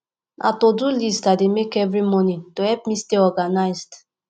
na todo list i dey make every morning to help me stay organized